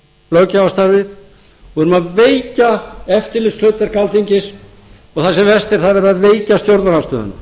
löggjafarstarfið við erum að veikja eftirlitshlutverk alþingis og það sem verst er það er verið að veikja stjórnarandstöðuna